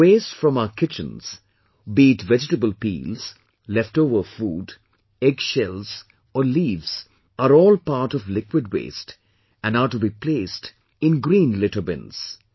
The waste from our kitchens, be it vegetable peels, leftover food, egg shells or leaves are all part of liquid waste and are to be placed in green litter bins